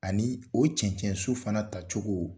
Ani o cɛnɛn su fana tacogo.